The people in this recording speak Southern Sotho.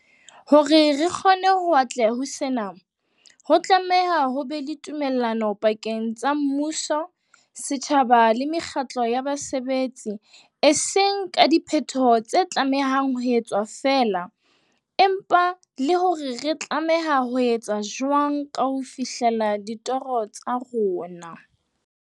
Hore re kgone ho atleha ho sena, ho tlameha ho ba le tumellano pakeng tsa mmuso, setjhaba le mekgatlo ya basebetsi, e seng ka diphetoho tse tlamehang ho etswa feela, empa le hore re tlameha ho etsa jwang ho ka fihlela ditoro tsa rona.